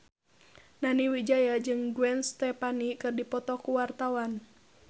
Nani Wijaya jeung Gwen Stefani keur dipoto ku wartawan